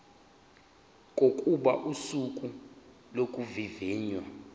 kokuba usuku lokuvivinywa